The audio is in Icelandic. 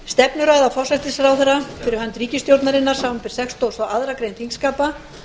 stefnuræða forsætisráðherra fyrir hönd ríkisstjórnarinnar samanber sextugustu og aðra grein þingskapa